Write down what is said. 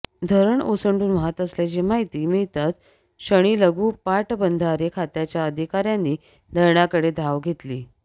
धरण ओसंडून वाहत असल्याची माहिती मिळताच क्षणी लघू पाटबंधारे खात्याच्या अधिकाऱ्यांनी धरणाकडे धाव घेतली